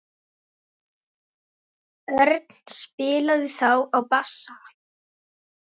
Örn spilaði þá á bassa.